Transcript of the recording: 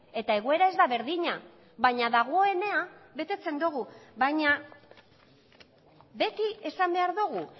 eta egoera ez da berdina baina dagoena betetzen dugu baina beti esan behar dugu